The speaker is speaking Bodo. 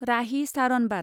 राहि सारनबात